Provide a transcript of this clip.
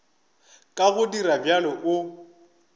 ka go dira bjalo o